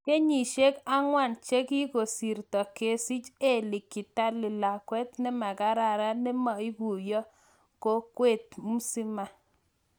kenyisieg angwan chegigosirta, kisich Elly Kitaly Lakwet nemakararan nema iguiyo kokwet musima